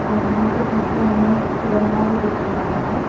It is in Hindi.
जहाँ पे पीछे हमें तिरंगा भी दिख रहा है।